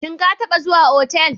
Shin ka taɓa zuwa otal?